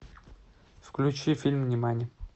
включи фильм нимани